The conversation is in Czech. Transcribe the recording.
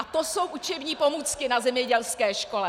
A to jsou učební pomůcky na zemědělské škole!